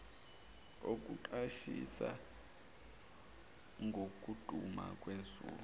okuqwashisa ngokuduma kwezulu